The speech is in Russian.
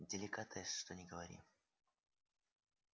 деликатес что ни говори